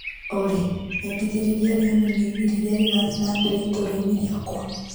Olĩ nyendithĩrĩria rĩonanio-inĩ rĩrĩa rĩrathiĩ na mbere itũra-inĩ rĩakwa